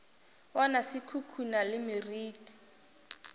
bona se khukhuna le meriti